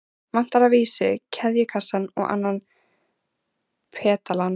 Vantar að vísu keðjukassann og annan pedalann.